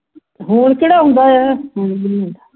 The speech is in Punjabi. ਹੁਣ ਜਿਹੜਾ ਆਉਂਦਾ ਹੈ